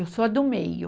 Eu sou a do meio.